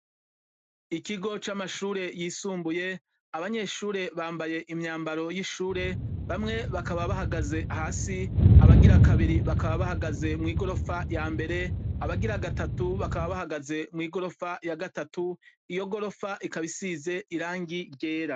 Ikigo c'amashure yisumbuye, abanyeshure bambaye imyambaro y'ishure, bamwe bakaba bahagaze hasi, abagira kabiri bakaba bahagaze mw'igorofa yambere, abagira gatatu bakaba bahagaze mw'igorofa ya gatatu, iyo gorofa ikaba isize irangi ryera.